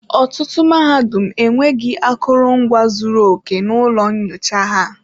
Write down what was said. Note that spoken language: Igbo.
Ọtụtụ mahadum enweghị akụrụngwa zuru oke na ụlọ nyocha ha.